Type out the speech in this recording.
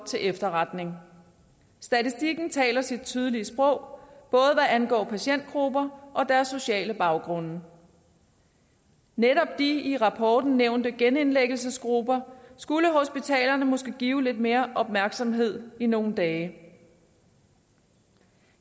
til efterretning statistikken taler sit tydelige sprog både hvad angår patientgrupper og deres sociale baggrund netop de i rapporten nævnte genindlæggelsesgrupper skulle hospitalerne måske give lidt mere opmærksomhed i nogle dage